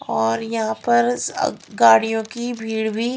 और यहाँ पर गाड़ियों की भीड़ भी--